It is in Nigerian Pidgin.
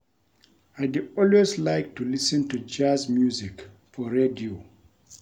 I dey always like to lis ten to Jazz music for radio